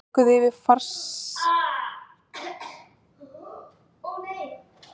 Þeir klifruðu yfir fangelsismúrana og komust inn á öryggissvæði þar sem verðirnir sáu þá.